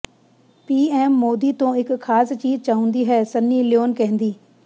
ਪੀ M Modi ਤੋਂ ਇਹ ਖਾਸ ਚੀਜ ਚਾਉਂਦੀ ਹੈ ਸਨੀ ਲਿਓਨ ਕਹਿੰਦੀ